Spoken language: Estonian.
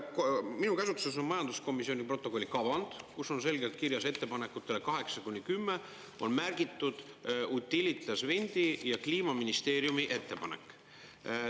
Minu käsutuses on majanduskomisjoni protokolli kavand, kus on selgelt kirjas ettepanekutele 8–10 on märgitud Utilitas Windi ja Kliimaministeeriumi ettepanek.